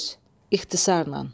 Söz, ixtisarla.